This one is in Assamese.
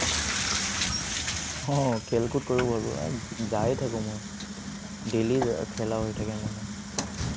অ, খেল কুদ কৰিব পাৰোঁ। যাইয়ে থাকো মই, daily খেলা হৈ থাকে মোৰ মানে।